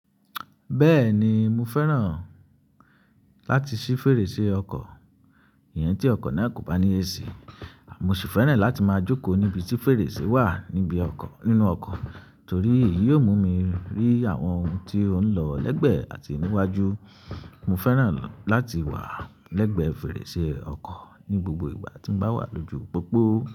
Bẹ́ẹ̀ni mo fẹ́ràn láti ṣí fèrèsé ọkọ̀, ìyẹn tí ọkọ̀ náà kò bá ní AC. Mo sì fẹ́ràn láti máa jókòó níbi tí fèrèsé wà níbi ọkọ̀, nínú ọkọ̀ torí èyí ó mú mi rí àwọn ohun tí ó ń lọ lẹ́gbẹ́ àti níwájú. Mo fẹ́ràn láti wà lẹ́gbẹ́ fèrèsé ọkọ̀ ní gbogbo ìgbà tí mo bá wà lójú pópó.